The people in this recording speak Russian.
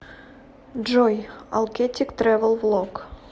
джой алкеттик трэвэл влог